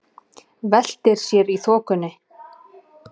Veltir sér í þokunni.